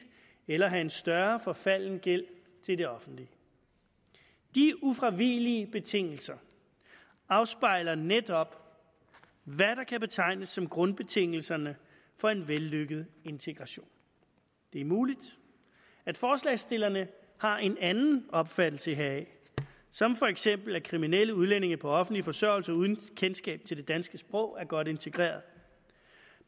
eller have en større forfalden gæld til det offentlige de ufravigelige betingelser afspejler netop hvad der kan betegnes som grundbetingelserne for en vellykket integration det er muligt at forslagsstillerne har en anden opfattelse heraf som for eksempel at kriminelle udlændinge på offentlig forsørgelse uden kendskab til det danske sprog er godt integreret